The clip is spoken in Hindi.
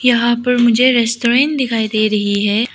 यहां पर मुझे रेस्टोरेंट दिखाई दे रही है।